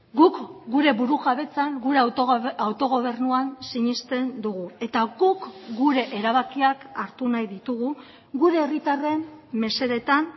guk gure burujabetzan gure autogobernuan sinesten dugu eta guk gure erabakiak hartu nahi ditugu gure herritarren mesedetan